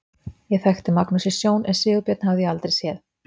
Ég þekkti Magnús í sjón en Sigurbjörn hafði ég aldrei séð.